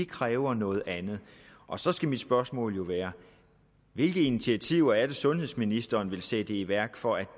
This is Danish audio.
kræver noget andet og så skal mit spørgsmål jo være hvilke initiativer er det sundhedsministeren vil sætte i værk for at